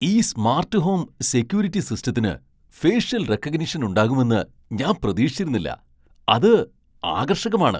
ഈ smart home security സിസ്റ്റത്തിന് facial recognition ഉണ്ടാകുമെന്ന് ഞാൻ പ്രതീക്ഷിച്ചിരുന്നില്ല. അത് ആകർഷകമാണ്!